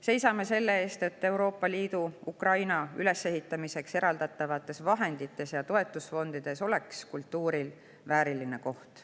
Seisame selle eest, et Ukraina ülesehitamiseks eraldatavates Euroopa Liidu vahendites ja toetusfondides oleks kultuuril vääriline koht.